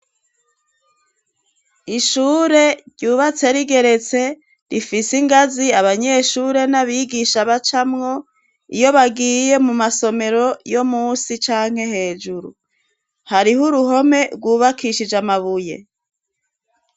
Ishure ryubatse rigeretse rifise ingazi abanyeshure n'abigisha bacamwo, iyo bagiye mu masomero yo munsi canke hejuru, hariho uruhome rwubakishije amabuye.